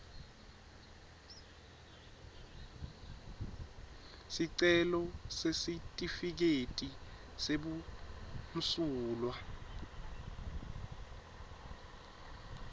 sicelo sesitifiketi sebumsulwa